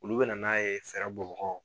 Olu bɛ na n'a ye fɛɛrɛ bɔ bagaw